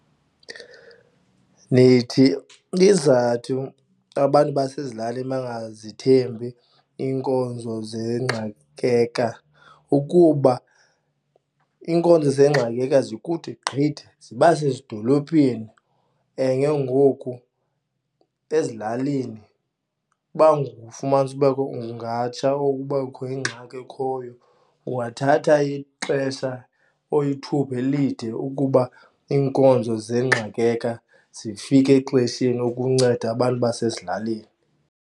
Ndithi izizathu abantu basezilalini bangazithembi iinkonzo ukuba iinkonzo zikude gqithi, ziba sezidolophini and ke ngoku ezilalini uba ungafumanisa kubekho ungatsha or uba kubekho ingxaki ekhoyo ungathatha ixesha or ithuba elide ukuba iinkonzo zifike exesheni ukunceda abantu basezilalini.